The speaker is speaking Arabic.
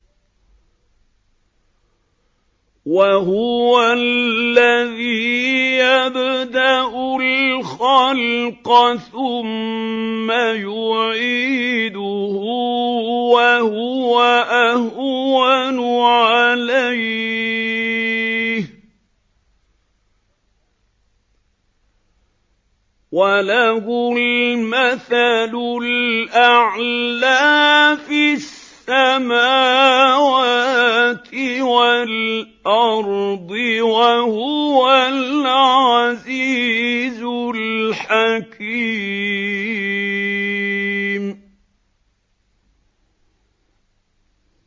وَهُوَ الَّذِي يَبْدَأُ الْخَلْقَ ثُمَّ يُعِيدُهُ وَهُوَ أَهْوَنُ عَلَيْهِ ۚ وَلَهُ الْمَثَلُ الْأَعْلَىٰ فِي السَّمَاوَاتِ وَالْأَرْضِ ۚ وَهُوَ الْعَزِيزُ الْحَكِيمُ